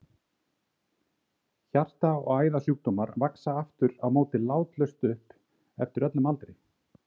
Hjarta- og æðasjúkdómar vaxa aftur á móti látlaust upp eftir öllum aldri.